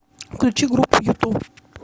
включи группу юту